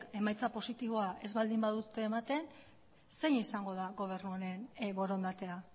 emaitza positiboa ez baldin badute ematen zein izango da gobernu honen borondatea